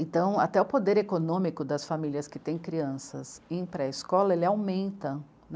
Então, até o poder econômico das famílias que têm crianças em pré escola, ele aumenta.